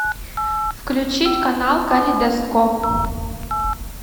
включить канал калейдоскоп